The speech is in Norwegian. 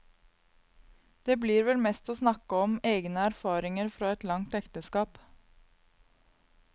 Det blir vel mest å snakke om egne erfaringer fra et langt ekteskap.